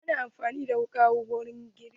Ana amfani da tukunya wurin girki.